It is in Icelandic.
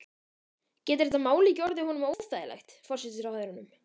Getur þetta mál ekki orðið honum óþægilegt, forsætisráðherranum?